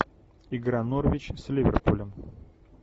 игра норвич с ливерпулем